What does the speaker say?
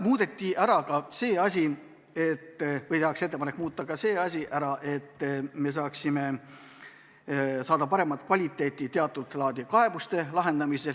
Tehakse ka ettepanek muuta regulatsiooni, et teatud laadi kaebuste lahendamise kvaliteet paraneks.